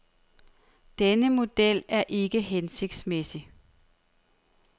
Denne model er ikke hensigtsmæssig.